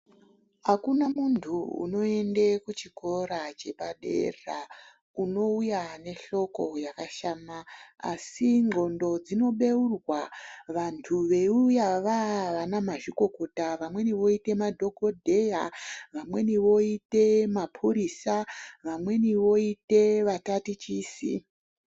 Akuna muntu unoenda kuchikora chepadera unouya nehloko yakashama, asi ndxondo dzinobeurwa vantu veiuya vana mazvikokota. Vamweni voita madhokodheya, vamweni voite mapurisa. Vamweni voita mapurisa, vamweni voita vatatichisi.